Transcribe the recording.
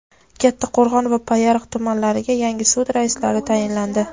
Kattaqo‘rg‘on va Payariq tumanlariga yangi sud raislari tayinlandi.